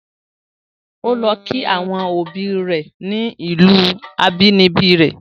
O lọ kí àwọn obi rẹ̀ ni ìlù abínibí rẹ̀.